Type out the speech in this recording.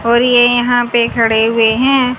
और ये यहां पे खड़े हुए हैं।